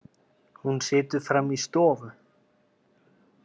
Hún situr frammi í stofu.